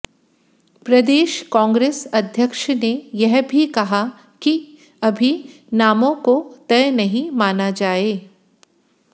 प्रदेश कांग्रेस अध्यक्ष ने यह भी कहा कि अभी नामों को तय नहीं माना जाए